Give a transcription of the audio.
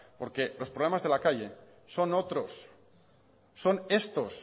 porque los problemas de la calle son otros son estos